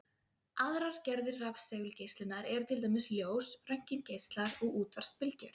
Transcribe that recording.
Aðrar gerðir rafsegulgeislunar eru til dæmis ljós, röntgengeislar og útvarpsbylgjur.